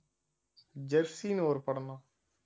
ஜெர்ஸினு ஒரு படம்ணா